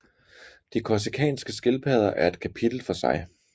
De korsikanske skildpadder er et kapitel for sig